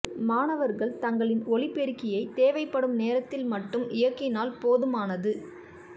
மாணவா்கள் தங்களின் ஒலிபெருக்கியை தேவைப்படும் நேரத்தில் மட்டும் இயக்கினால் போதுமானது